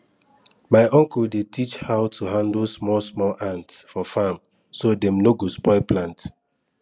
my uncle dey teach how to handle small small ant for farm so dem no go spoil plant